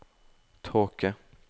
tåke